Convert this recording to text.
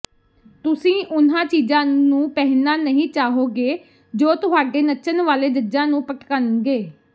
ਤੁਸੀਂ ਉਨ੍ਹਾਂ ਚੀਜ਼ਾਂ ਨੂੰ ਪਹਿਨਣਾ ਨਹੀਂ ਚਾਹੋਗੇ ਜੋ ਤੁਹਾਡੇ ਨੱਚਣ ਵਾਲੇ ਜੱਜਾਂ ਨੂੰ ਭਟਕਣਗੇ